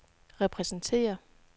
repræsenterer